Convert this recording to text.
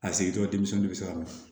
A sigitɔ denmisɛnnin de bɛ siran a ɲɛ